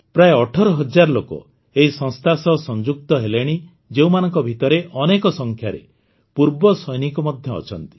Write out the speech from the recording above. ପ୍ରାୟ ୧୮୦୦୦ ଲୋକ ଏହି ସଂସ୍ଥା ସହ ସଂଯୁକ୍ତ ହେଲେଣି ଯେଉଁମାନଙ୍କ ଭିତରେ ଅନେକ ସଂଖ୍ୟାରେ ପୂର୍ବ ସୈନିକ ମଧ୍ୟ ଅଛନ୍ତି